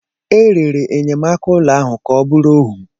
E rere enyemaka ụlọ ahụ ka ọ bụrụ ohu.